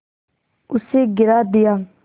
उसे गिरा दिया